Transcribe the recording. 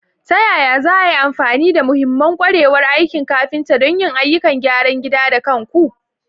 Ta yaya za a yi amfani da mahimman ƙwarewar aikin kafinta don yin ayyukan gyaran gida da kanku?